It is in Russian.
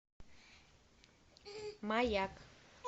маяк